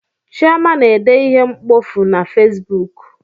Chioma na-ede ihe mkpofu na fesbuk